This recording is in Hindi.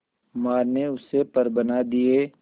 मां ने उससे पर बना दिए